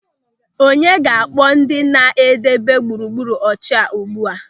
Onye ga-akpọ ndị na-edebe gburugburu ọcha ugbu a?